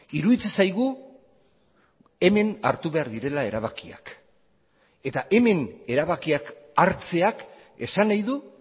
iruditzen zaigu hemen hartu behar direla erabakiak eta hemen erabakiak hartzeak esan nahi du